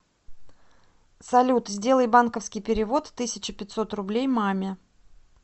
салют сделай банковский перевод тысяча пятьсот рублей маме